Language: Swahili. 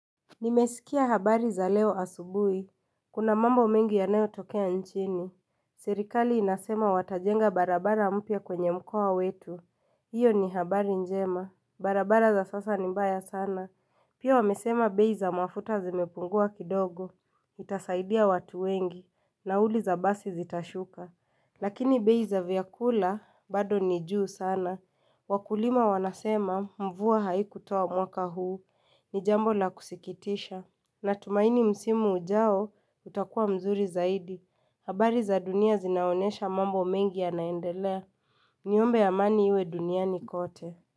Nimesikia habari za leo asubui. Kuna mambo mengi yanayotokea nchini. Serikali inasema watajenga barabara mpya kwenye mkoa wetu. Hiyo ni habari njema. Barabara za sasa ni mbaya sana. Pia wamesema bei za mafuta zimepungua kidogo. Itasaidia watu wengi. Nauli za basi zitashuka. Lakini bei za vyakula bado ni juu sana. Wakulima wanasema mvua haikutoa mwaka huu. Ni jambo la kusikitisha. Natumaini msimu ujao utakuwa mzuri zaidi. Habari za dunia zinaonyesha mambo mengi yanaendelea Niombe amani iwe duniani kote.